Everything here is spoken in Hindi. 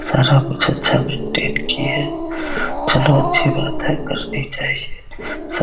सारा कुछ अच्छा मेंटेन की है चलो अच्छी बात है करनी चाहिए सब --